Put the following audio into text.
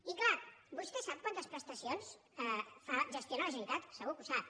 i clar vostè sap quantes prestacions gestiona la generalitat segur que ho sap